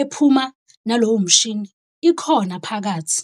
ephuma nalowo mshini ikhona phakathi.